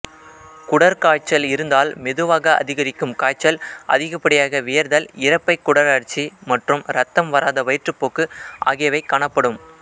குடற்காய்ச்சல் இருந்தால் மெதுவாக அதிகரிக்கும் காய்ச்சல் அதிகப்படியாக வியர்த்தல் இரைப்பை குடலழற்சி மற்றும் இரத்தம் வராத வயிற்றுப்போக்கு ஆகியவை காணப்படும்